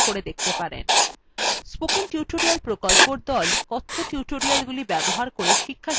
spoken tutorial প্রকল্পর the কথ্য tutorialগুলি ব্যবহার করে শিক্ষাশিবির সঞ্চালন করে